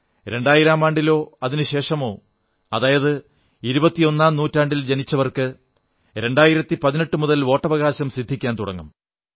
രണ്ടായിരമാണ്ടിലോ അതിനു ശേഷമോ അതായത് ഇരുപത്തിയൊന്നാം നൂറ്റാണ്ടിൽ ജനിച്ചവർക്ക് 2018 മുതൽ വോട്ടവകാശം സിദ്ധിക്കാൻ തുടങ്ങും